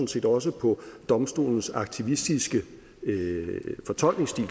set også på domstolens aktivistiske fortolkningsstil